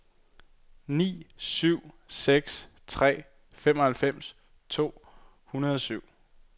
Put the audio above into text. ni syv seks tre femoghalvfems to hundrede og syv